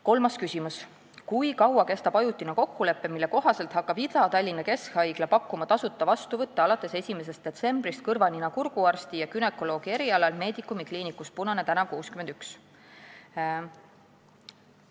Kolmas küsimus: "Kui kaua kestab ajutine kokkulepe, mille kohaselt hakkab Ida-Tallinna Keskhaigla pakkuma tasuta vastuvõtte alates 1. detsembrist kõrva-nina-kurguarsti ja günekoloogi erialal Medicumi kliinikus Punane tn 61?